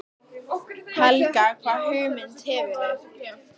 Helga: Hvaða hugmyndir hefurðu?